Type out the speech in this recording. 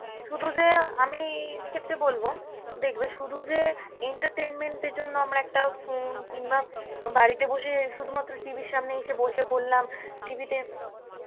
শুধু যে আমি~ এ ক্ষেত্রে বলবো দেখবে শুধু যে entertainment এর জন্য আমরা একটা phone কিংবা বাড়িতে বসে শুধুমাত্র TV র সামনে এসে বসে পরলাম, TV তে